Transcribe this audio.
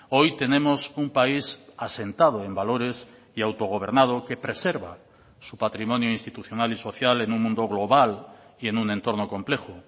hoy tenemos un país asentado en valores y autogobernado que preserva su patrimonio institucional y social en un mundo global y en un entorno complejo